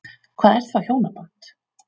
Hvað er þá hjónaband?